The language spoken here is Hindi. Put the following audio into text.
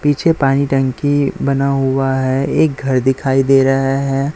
पीछे पानी टंकी बना हुआ है एक घर दिखाई दे रहा है।